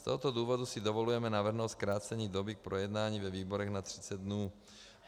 Z tohoto důvodu si dovolujeme navrhnout zkrácení doby k projednání ve výborech na 30 dnů.